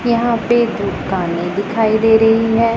यहां पे दुकानें दिखाई दे रही है।